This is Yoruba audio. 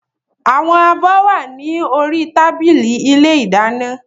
Àwọn abọ́ wà ní orí tábìlì ilé ìdáná